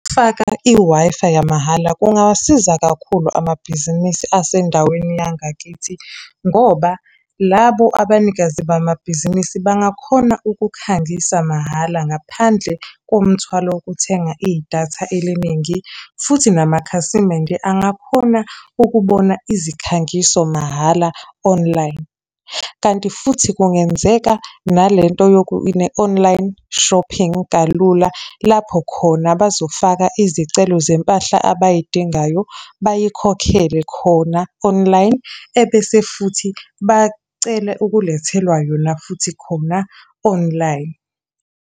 Faka i-Wi-Fi yamahhala kungasiza kakhulu amabhizinisi asendaweni yangakithi ngoba labo abanikazi bamabhizinisi bangakhona ukukhangisa mahhala ngaphandle komthwalo wokuthenga idatha eliningi. Futhi namakhasimende angakhona ukubona izikhangiso mahhala online. Kanti futhi kungenzeka nalento online shopping kalula lapho khona bazofaka izicelo zempahla abayidingayo, bayikhokhele khona online, ebese futhi bacele ukulethelwa yona futhi khona online.